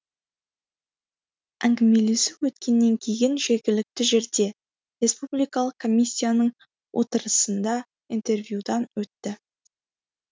әңгімелесу өткеннен кейін жергілікті жерде республикалық комиссияның отырысында интервьюдан өтті